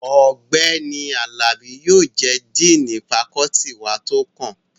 Ọ̀gbẹ́ni Àlàbí yóò jẹ́ díìnì fakọ́ọ́tì wa tó kàn